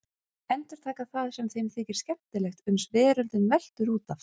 Endurtaka það sem þeim þykir skemmtilegt uns veröldin veltur út af.